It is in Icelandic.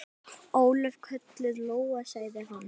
Ólöf, kölluð Lóa, sagði hann.